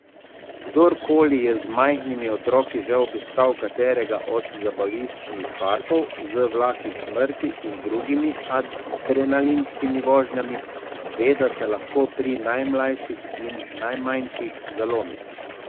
Kdor koli je z majhnimi otroki že obiskal katerega od zabaviščnih parkov z vlaki smrti in drugimi adrenalinskimi vožnjami, ve, da se lahko pri najmlajših in najmanjših zalomi.